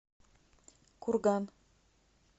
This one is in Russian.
курган